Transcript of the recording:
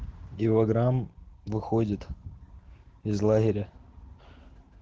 килограмм выходит из лагеря